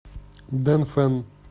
дэнфэн